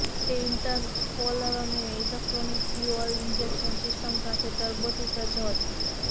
તે ઇન્ટરકોલર અને electronic fuel injection system સાથે ટર્બોથી સજ્જ હતો